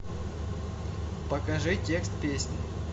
покажи текст песни